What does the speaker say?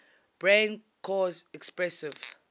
brain cause expressive